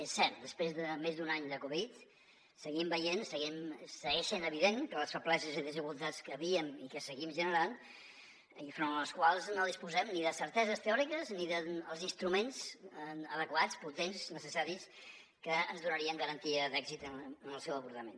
és cert després de més d’un any de covid seguim veient segueix sent evident que les febleses i desigualtats que hi havien i que seguim generant i front les quals no disposem ni de certeses teòriques ni dels instruments adequats potents necessaris que ens donarien garantia d’èxit en el seu abordament